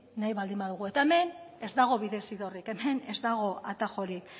nahi baldin badugu eta hemen ez dago bidezidorrik ez dago atajorik